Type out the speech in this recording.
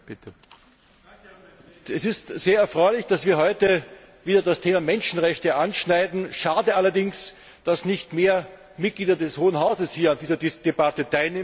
Herr Präsident! Es ist sehr erfreulich, dass wir heute wieder das Thema Menschenrechte anschneiden. Schade allerdings, dass nicht mehr Mitglieder des Hohen Hauses hier an dieser Debatte teilnehmen.